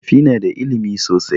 Makafi na da ilimi sosai